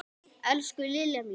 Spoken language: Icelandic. Elsku Lilja mín.